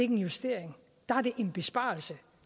en justering der er det en besparelse